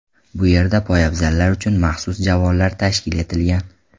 Bu yerda poyabzallar uchun maxsus javonlar tashkil etilgan.